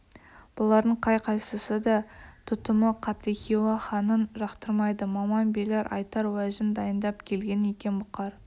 бұлардың қай-қайсысы да тұтымы қатты хиуа ханын жақтырмайды маман билер айтар уәжін дайындап келген екен бұқар